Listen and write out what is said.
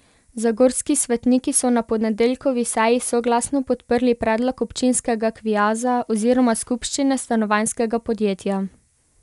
Zagorski svetniki so na ponedeljkovi seji soglasno podprli predlog občinskega kviaza oziroma skupščine Stanovanjskega podjetja.